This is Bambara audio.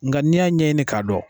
Nga ni y'a ɲɛɲini ka dɔn.